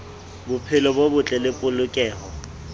bophelo bo botle le polokeho